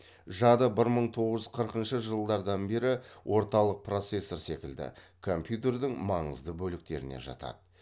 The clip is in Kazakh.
жады бір мың тоғыз жүз қырқыншы жылдардан бері орталық процессор секілді компьютердің маңызды бөліктеріне жатады